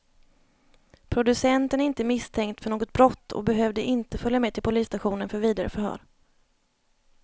Producenten är inte misstänkt för något brott och behövde inte följa med till polisstationen för vidare förhör.